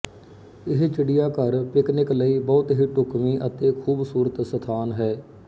ਇਹ ਚਿੜ੍ਹੀਆਘਰ ਪਿਕਨਿਕ ਲਈ ਬਹੁਤ ਹੀ ਢੁਕਵੀਂ ਅਤੇ ਖੂਬਸੂਰਤ ਸਥਾਨ ਹੈ